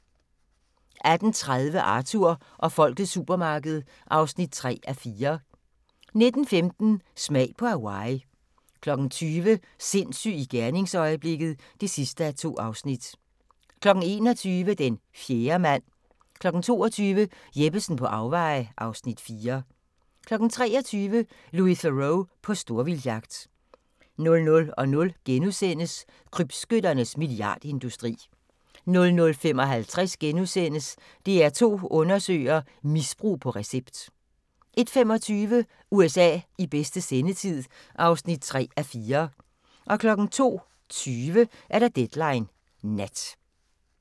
18:30: Arthur og folkets supermarked (3:4) 19:15: Smag på Hawaii 20:00: Sindssyg i gerningsøjeblikket (2:2) 21:00: Den fjerde mand 22:00: Jeppesen på afveje (Afs. 4) 23:00: Louis Theroux på storvildtjagt 00:00: Krybskytternes milliardindustri * 00:55: DR2 Undersøger: Misbrug på recept * 01:25: USA i bedste sendetid (3:4) 02:20: Deadline Nat